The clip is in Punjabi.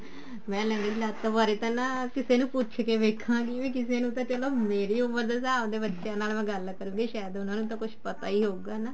ਮੈਂ ਲੰਗੜੀ ਲੱਤ ਬਾਰੇ ਨਾ ਕਿਸੇ ਨੂੰ ਪੁੱਛ ਕੇ ਦੇਖਾਂਗੀ ਵੀ ਕਿਸੇ ਨੂੰ ਤਾਂ ਚਲੋ ਮੇਰੀ ਉਮਰ ਦੇ ਹਿਸਾਬ ਦੇ ਬੱਚਿਆਂ ਨਾਲ ਮੈਂ ਗੱਲ ਕਰਾਂਗੀ ਸ਼ਾਇਦ ਉਹਨਾ ਨੂੰ ਪਤਾ ਹੀ ਹੋਊਗਾ ਨਾ